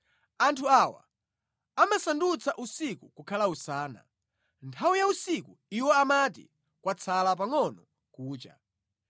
Anthu awa amasandutsa usiku kukhala usana, nthawi ya usiku iwo amati ‘kwatsala pangʼono kucha.’